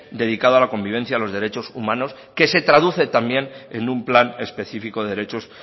dedicado a la convivencia a los derechos humanos que se traduce también en un plan especifico de derechos